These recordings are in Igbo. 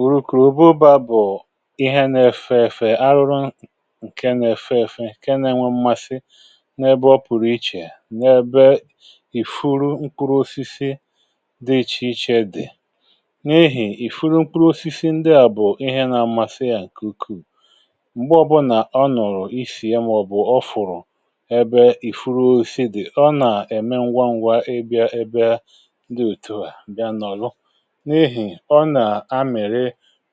Ụrùkù òbụ baa bụ̀ ihe na-efeefe, arụrụ nke na-efeefe ke na-enwe mmasị n’ebe ọ pụ̀rụ̀ ichè, n’ebe ìfuru nkwụrụ osisi dị iche iche dị̀. N’ihì ìfuru nkwụrụ osisi ndị à bụ̀ ihe na-amasị yȧ ǹkè ukwuu, m̀gbe ọbụna ọ nọ̀rọ̀ isì ya maọbụ ọfụrụ ebe ìfuru osisi dị̀, ọ nà-ème ngwangwa ịbịa ndị òtùwà ǹbịa nọ̀lụ. N’ịhị ọna mmiri̇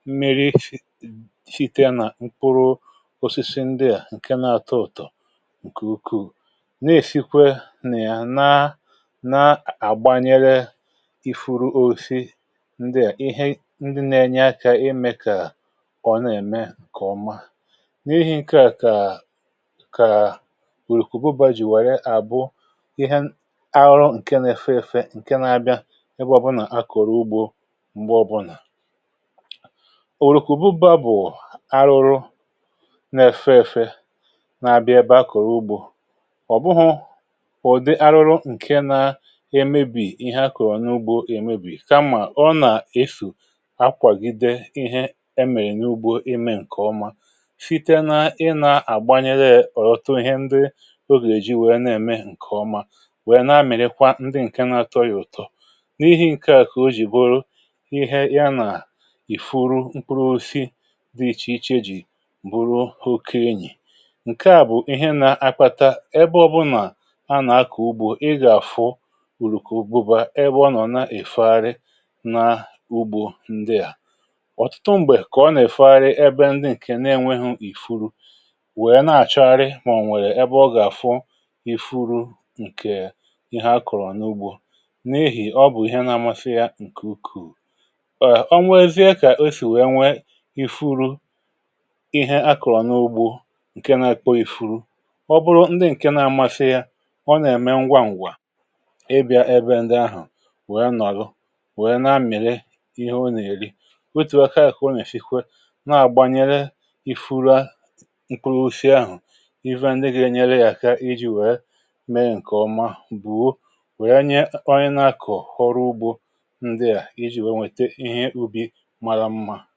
mmịrị site nà mkpụrụ osisi ndị à ǹke nȧ-ȧtọ̇ ụ̀tọ̀ ǹkè ukwuù, n’èfikwe nà-àna na àgbanyere ifuru oisi, ndị à ihe ndị nȧ-ėnyė akȧ imė kà ọ nà-ème ǹkè ọma. N’ihi ǹke à kà òrìkùbu bajì wère àbụ ihe arụ ǹke nȧ-ėfe ǹke nȧ-abịa ịbọ̇bụ̇ nà akọ̀rọ̀ ugbȯ m̀gbe ọbụnà. Ọ̀rùkù buba bụ̀ arụrụ na-èfe èfe na-abịa ebe a kọ̀rọ̀ ugbȯ. Ọ bụhụ̀ ụ̀dị arụrụ ǹke na-emėbì ihe akọ̀ n’ugbȯ èmebì, kamà ọ nà-esù akwàgide ihe emèrè n’ugbȯ emė ǹkè ọma, site na ị na-àgbanyere ọ̀tọtọ ihe ndị ogèlè ji wèe na-ème ǹkè ọma wèe na-amịrịkwa ndị ǹke na-atọ ya ụ̀tọ. N’ihi ǹke à kà o jì bụrụ ịhe ye na ịfụrụ mkpụrụ ọsisi di ichè ichè ji̇ bụrụ hụ̀kọ enyì. Nke à bụ̀ ihe nà-akpata ebe ọbụnà a nà-akọ̀ ugbȯ ị gà-àfụ ùrùkọ ùbụba ebe ọ nọ̀ na-èfegharị n’ugbȯ ndị à. Ọtụtụ m̀gbè kà ọ nà-èfegharị ebe ndị ǹkè na-enweghu̇ ìfuru, wèe na-àchọrị m̀gbè nwèrè ebe ọ gà-àfụ ifuru ǹkè ihe a kọ̀rọ̀ n’ugbȯ, n’ehì ọ bụ̀ ihe na-amasi ya ǹkè ukù. Ọnwezia ka esị nwèè ìfuru ihe akọ̀rọ̀ n’ugbo ǹke na-èko ìfuru, ọ bụrụ ndị ǹke na-amasị ya ọ nà-ème ngwa ǹgwà ịbịà ebe ndi ahụ̀ wèe nà-àrụ, wèe na-amị̀rị ihe ọ nà-èri. otù aka àkọ̀ ọ nà-èsikwe na-àgbànyere ìfuru aṅụ̀ ife ndi gà-ènyere ya aka iji̇ wee mee ǹkè ọma, bùo wee nye onye nȧ-akọ̀ họrụ ugbȯ ndị à iji̇ wee nwète ihe ubi̇ mà naàbịa nsògbu à ihe à bụ̀ mkpịtị nà-àrịọ̇ ǹkẹ̀ mụpụta.